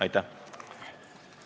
Aitäh!